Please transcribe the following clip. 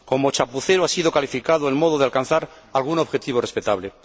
Como chapucero ha sido calificado el modo de alcanzar algún objetivo respetable.